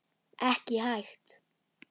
Ekki hægt.